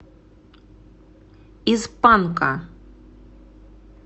из панка